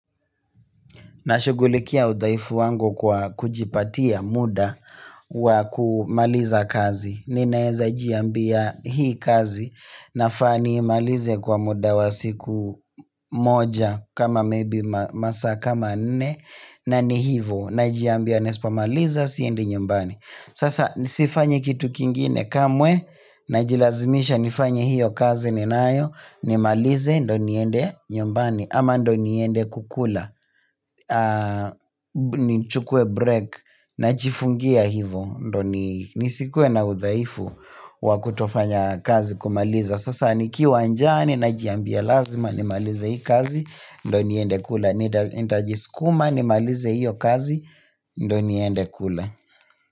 Nashugulikia udhaifu wangu kwa kujipatia muda wa kumaliza kazi. Ninaeza jiambia hii kazi nafaa niimalize kwa muda wa siku moja kama maybe masaa kama nne na ni hivo najiambia nisipomaliza siendi nyumbani. Sasa nisifanye kitu kingine kamwe najilazimisha nifanye hiyo kazi ninayo nimalize ndio niende nyumbani ama ndio niende kukula. Nichukuwe break najifungia hivyo ndio nisikuwe na udhaifu wa kutofanya kazi kumaliza sasa nikiwa njaa ninajiambia lazima nimalize hii kazi ndo niende kula nitajiskuma nimalize hio kazi ndio niende kula.